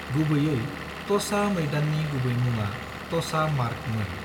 गुबैयै तोसा मैदाननि गुबै मुङा "तोसा मार्ग" मोन।